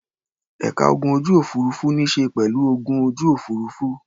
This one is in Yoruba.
Ẹ̀ka ogun ojú-òfurufú níṣe pẹ̀lú ogun ojú òfurufú.